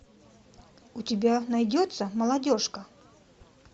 у тебя найдется молодежка